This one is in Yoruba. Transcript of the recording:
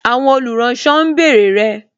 Àwọn olùránsọ ń bèrè rẹ